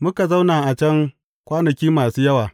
Muka zauna a can kwanaki masu yawa.